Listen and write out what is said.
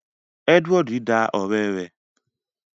Edward da ọrẹ rẹ